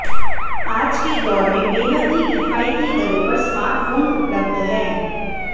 आज के दौर में बेहद ही किफायती दरों पर स्मार्टफोन उपलब्ध हैं